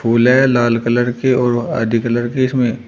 फूल है लाल कलर के और आदि कलर की इसमें--